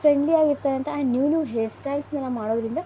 trendy ಆಗುತ್ತೆ ಅಂತ new new hairstyle ಮಾಡುವುದರಿಂದ --